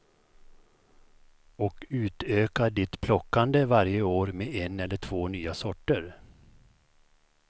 Och utöka ditt plockande varje år med en eller två nya sorter.